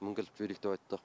мінгізіп жіберейік деп айтты